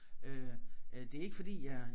Øh øh det ikke fordi jeg